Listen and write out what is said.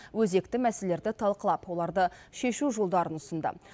өзекті мәселелерді талқылап оларды шешу жолдарын ұсынды